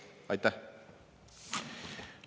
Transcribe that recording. Aitäh!